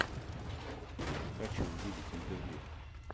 хочу увидеть интервью